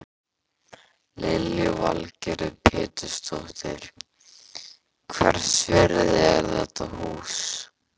Lillý Valgerður Pétursdóttir: Hvers virði er þetta hús?